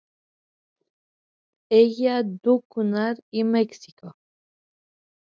Lík hengd upp í Mexíkó